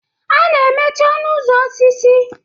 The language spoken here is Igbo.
A na-emechi ọnụ ụzọ osisi.